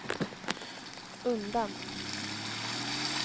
undan